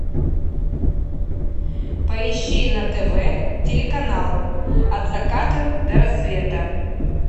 поищи на тв телеканал от заката до рассвета